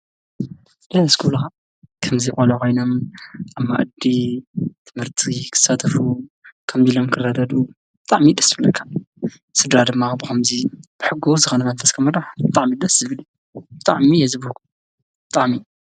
ደስ ክብሉካ ከምዚ ቆልዑ ኮይኖም ኣብ መኣዲ ትምህርቲ ክሳተፉን ከምዚ ክርዳድኡን ብጣዕሚ እዩ ደስ ዝብለኒ:: ስድራ ድማ ብከምዚ ሕጉስ መንፈስ ክምራሕ ብጣዕሚ ደስ ዝብል እዩ:: ብጣዕሚ እየ ዝብህጎ ብጣዕሚ::